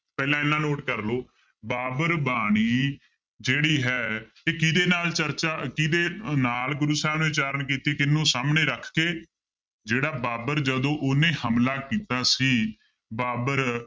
ਪਹਿਲਾਂ ਇੰਨਾ note ਕਰ ਲਓ ਬਾਬਰ ਬਾਣੀ ਜਿਹੜੀ ਹੈ ਇਹ ਕਿਹਦੇ ਨਾ ਚਰਚਾ ਕਿਹਦੇ ਨਾਲ ਗੁਰੂ ਸਾਹਿਬ ਨੇ ਉਚਾਰਨ ਕੀਤੀ, ਕਿਹਨੂੰ ਸਾਹਮਣੇ ਰੱਖ ਕੇ ਜਿਹੜਾ ਬਾਬਰ ਜਦੋਂ ਉਹਨੇ ਹਮਲਾ ਕੀਤਾ ਸੀ, ਬਾਬਰ